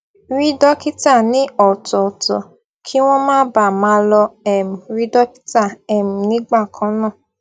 rí dókítà ní ọtọọtọ kí wón má baà máa lọ um rí dókítà um nígbà kan náà